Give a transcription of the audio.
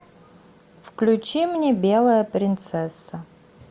включи мне белая принцесса